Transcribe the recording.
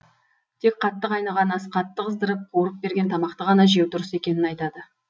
тек қатты қайнаған ас қатты қыздырып қуырып берген тамақты ғана жеу дұрыс екенін айтады